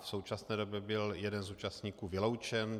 V současné době byl jeden z účastníků vyloučen.